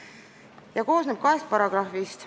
See koosneb kahest paragrahvist.